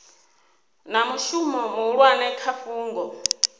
na mushumo muhulwane kha fhungo